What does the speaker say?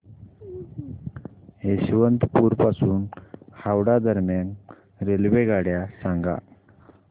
यशवंतपुर पासून हावडा दरम्यान रेल्वेगाड्या सांगा